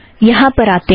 यहाँ पर आते हैं